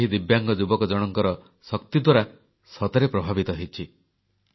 ମୁଁ ସେହି ଦିବ୍ୟାଙ୍ଗ ଯୁବକ ଜଣଙ୍କର ଶକ୍ତି ଦ୍ୱାରା ସତରେ ପ୍ରଭାବିତ ହୋଇଛି